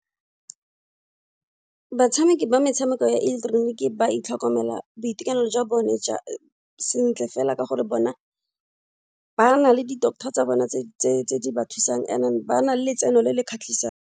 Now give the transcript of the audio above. Batshameki ba metshameko ya ileketeroniki ba itlhokomela boitekanelo jwa bone ja sentle fela ka gore bona ba na le di-doctor tsa bone tse di ba thusang and then ba na le letseno le le kgatlhisang.